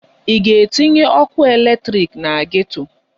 Ị ga-etinye ọkụ eletrik na geto!